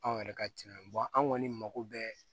Anw yɛrɛ ka tiɲɛ ye an kɔni mako bɛ